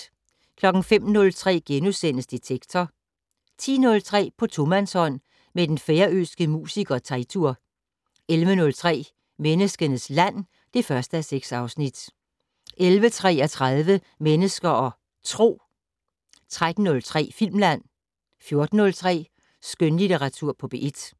05:03: Detektor * 10:03: På tomandshånd med den færøske musiker Teitur 11:03: Menneskenes land (1:6) 11:33: Mennesker og Tro 13:03: Filmland 14:03: Skønlitteratur på P1